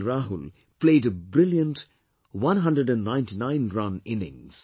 Rahul played a brilliant 199 run innings